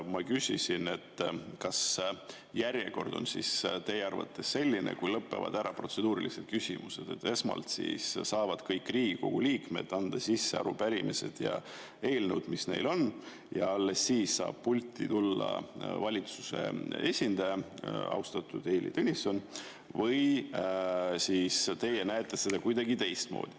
Ma küsisin, kas järjekord on teie arvates selline, et kui lõpevad ära protseduurilised küsimused, siis esmalt saavad kõik Riigikogu liikmed anda sisse arupärimised ja eelnõud, mis neil on, ja alles siis saab pulti tulla valitsuse esindaja, austatud Heili Tõnisson, või siis te näete seda kuidagi teistmoodi.